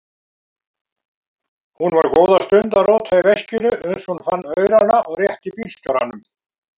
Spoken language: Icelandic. Hún var góða stund að róta í veskinu uns hún fann aurana og rétti bílstjóranum.